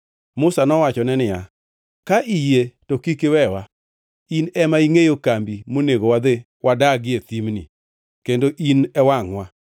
Musa to nowachone niya, “Ka iyie to kik iwewa. In ema ingʼeyo kambi monego wadhi wadagie thimni, kendo in e wangʼwa.